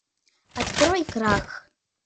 открой крах